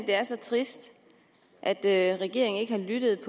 det er så trist at at regeringen ikke har lyttet